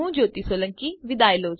જોડાવા બદ્દલ આભાર